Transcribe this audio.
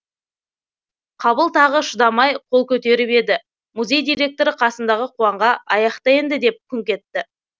қабыл тағы шыдамай қол көтеріп еді музей директоры қасындағы қуанға аяқта енді деп күңк етті